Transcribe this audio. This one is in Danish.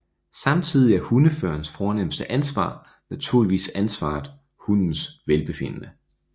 Samtidig er hundeførerens fornemste ansvar naturligvis ansvaret hundens velbefindende